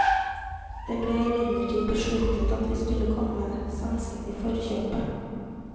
Det ble imidlertid besluttet av vi skulle komme svenskene i forskjøpet.